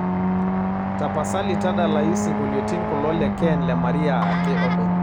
tapasali tadalayu isingoliotin kulo le ken le maria ake openy